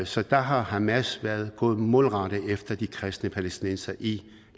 så der har hamas gået målrettet efter de kristne palæstinensere i